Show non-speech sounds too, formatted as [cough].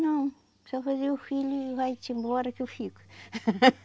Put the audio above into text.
Não, só fazer o filho e vai-te embora que eu fico. [laughs]